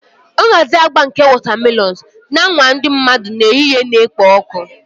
Nhazi agba nke wotamelons na-anwa ndị mmadụ n'ehihie na-ekpo ọkụ